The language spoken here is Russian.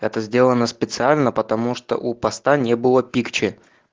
это сделано специально потому что у поста не было пикче